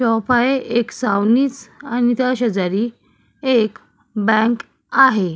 Shop आहे एक सावणीज आणि त्या शेजारी एक बँक आहे.